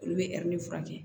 Olu bɛ furakɛ